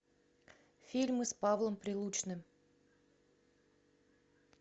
фильмы с павлом прилучным